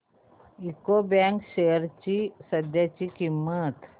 UCO bank shares ची सध्याची किंमत